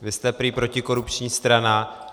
Vy jste prý protikorupční strana.